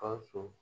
Gawusu